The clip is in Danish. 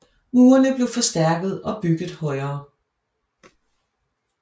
Murene blev forstærket og bygget højere